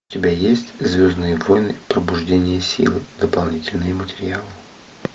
у тебя есть звездные войны пробуждение сил дополнительные материалы